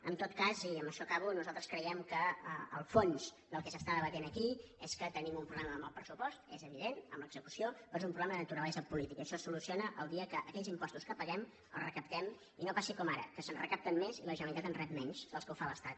en tot cas i amb això acabo nosaltres creiem que el fons del que s’està debatent aquí és que tenim un pro·blema amb el pressupost és evident en l’execució però és un problema de naturalesa política això es solu ciona el dia que aquells impostos que paguem els recaptem i no passi com ara que se’n recapten més i la generalitat en rep menys dels que ho fa l’estat